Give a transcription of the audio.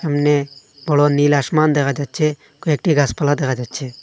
সামনে বড় নীল আসমান দেখা যাচ্ছে কয়েকটি গাসপালা দেখা যাচ্ছে।